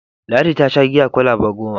Ladi ta sha giya kwalaba goma.